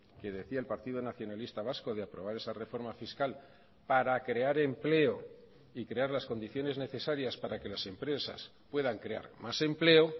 que decía el partido nacionalista vasco de aprobar esa reforma fiscal para crear empleo y crear las condiciones necesarias para que las empresas puedan crear más empleo